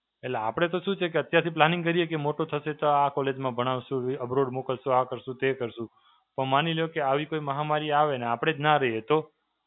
એટલે આપડે તો શું છે કે અત્યારથી planning કરીએ કે મોટો થશે તો આ college માં ભણાવશું, Abroad મોકલશું, આ કરશું, તે કરશું. તો માની લ્યો કે આવી કોઈ મહામારી આવે અને આપડે જ નાં રહીએ તો?